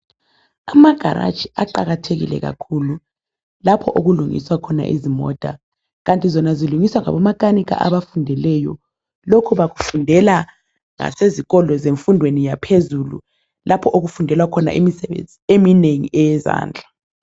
Amagaraji aqakathekile kakhulu lapho okulungiswa khona izimota kanti zona zilungiswa ngabomakanika abafundileyo lokhu bakufundela ngasezikolo zemfundweni yaphezulu lapho okufundelwa khona imisebenzi eminengi eyezandla.